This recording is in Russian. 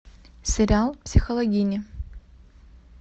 сериал психологини